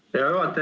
Hea juhataja!